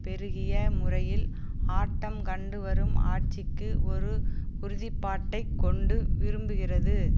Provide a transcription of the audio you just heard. பெருகிய முறையில் ஆட்டம் கண்டுவரும் ஆட்சிக்கு ஒரு உறுதிப்பாட்டைக் கொண்டு விரும்புகிறது